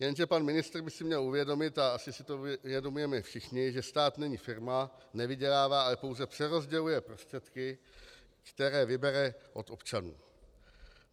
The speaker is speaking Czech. Jenže pan ministr by si měl uvědomit, a asi si to uvědomujeme všichni, že stát není firma, nevydělává, ale pouze přerozděluje prostředky, které vybere od občanů.